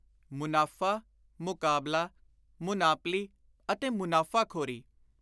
ਮੁਨਾਫ਼ਾ, ਮੁਕਾਬਲਾ, ਮੁਨਾਪਲੀ ਅਤੇ ਮੁਨਾਫ਼ਾਖ਼ੋਰੀ